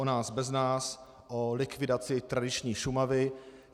O nás bez nás, o likvidaci tradiční Šumavy.